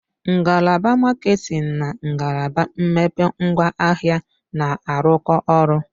Ngalaba maketin na ngalaba mmepe ngwaahịa na-arụkọ ọrụ.